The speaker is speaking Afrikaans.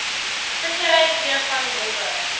vissery kreefvang robbe